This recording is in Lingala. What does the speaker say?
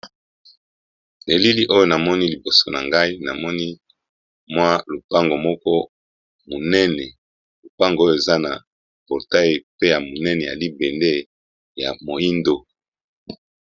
elili oyo namoni liboso na ngai namoni mwa lupango moko munene lupango oyo eza na portay pe ya munene ya libende ya moindo